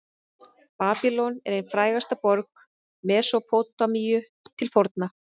babýlon er ein frægasta borg mesópótamíu til forna